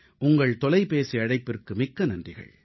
உங்கள் தொலைபேசி அழைப்பிற்கு மிக்க நன்றிகள்